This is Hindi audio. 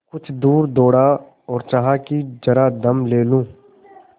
कुछ दूर दौड़ा और चाहा कि जरा दम ले लूँ